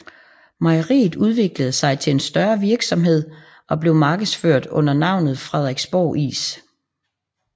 Mejeriet udviklede sig til en større virksomhed og blev markedsført under navnet Frederiksborg Is